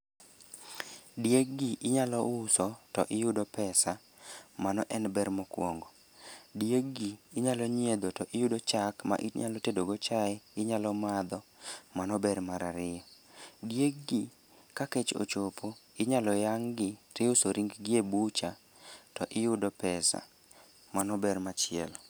Dieg gi inyalo uso, to iyudo pesa, mano en ber mokwongo. Dieg gi inyalo nyiedho to iyudo chak ma inyalo tedo go chae, to inyalo madho, mano en ber mar ariyo. Dieg gi ka kech ochopo inyalo yang' gi to iuso ringgi e butcher to iyudo pesa mano ber machielo.